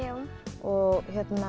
og